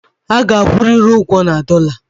A ga-akwụ riri'm ugwo na dollar!